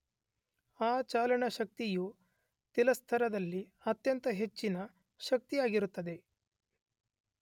ಆ ಚಲನ ಶಕ್ತಿಯು ತಲಸ್ಥರದಲ್ಲಿ ಅತ್ಯಂತ ಹೆಚ್ಚಿನ ಶಕ್ತಿಯಾಗಿರುತ್ತದೆ.